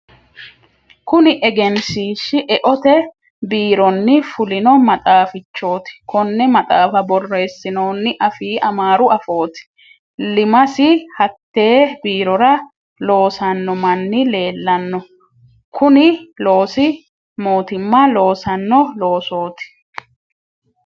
Kunni egenshiishi e"eote biironni fulino maxaafichoti. Konne maxaafa boreesinnonni afii amaaru afooti. Iimasi hatee biirora loosanno manni leelano. Kunni loosi mootimma loosano loosooti.